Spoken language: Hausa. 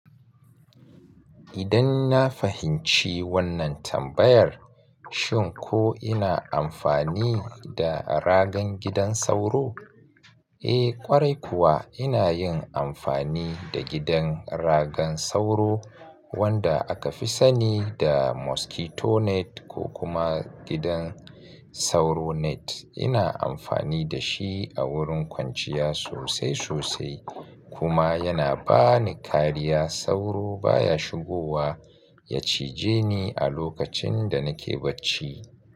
Idan na fahimci wannan tambayar, shin ko ina amfani da ragan gidan sauro? Eh ƙwarai kuwa ina yin amfani da gidan ragan sauro wanda aka fi sani da mosquito net ko kuma gidan sauro net. Ina amfani da shi a wurin kwanciya sosai sosai kuma yana ba ni kariya sauro baya shigowa ya cije ni a lokacin da nake bacci.